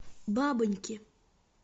бабоньки